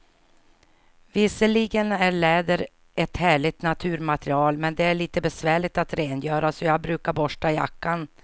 Visserligen är läder ett härligt naturmaterial, men det är lite besvärligt att rengöra, så jag brukar borsta jackan.